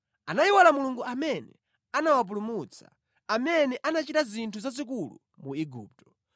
Anayiwala Mulungu amene anawapulumutsa, amene anachita zinthu zazikulu mu Igupto,